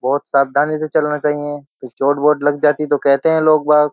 बहुत सावधानी से चलना चाहिए फिर चोट बोट लग जाती तो कहते हैं लोग --